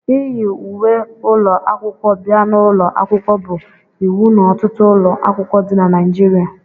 iyi uwe ụlọ akwụkwọ bia n'ụlọ akwụkwọ bụ iwu n'ọtụtụ ụlọ akwụkwọ dị na Naịjirịa